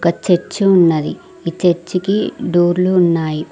Church ఉన్నది చర్చికి డోర్లు ఉన్నాయి.